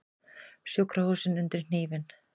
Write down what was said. Sjúkrahúsin undir hnífinn